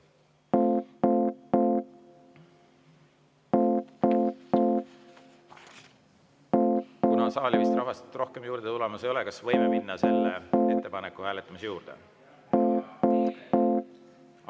Kuna saali vist rahvast rohkem juurde tulemas ei ole, kas võime minna selle ettepaneku hääletamise juurde?